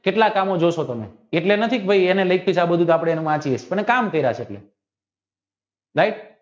કેટલા કામો જોવ છો તમે એટલે નથી કે એને કમ કર્યા છે એટલે right